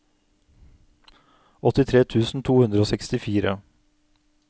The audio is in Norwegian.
åttitre tusen to hundre og sekstifire